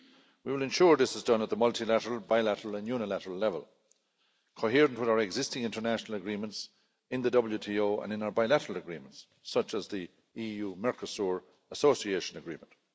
We will ensure this is done at the multilateral, bilateral and unilateral level, coherent with our existing international agreements in the WTO and in our bilateral agreements, such as the EU Mercosur Association Agreement.